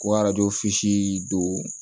Ko arajo siii don